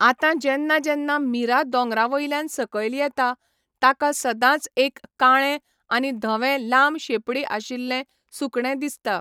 आतां जेन्ना जेन्ना मीरा दोंगरा वयल्यान सकयल येता, ताका सदांच एक काळें आनी धवें लांब शेंपडी आशिल्लें सुकणें दिसता.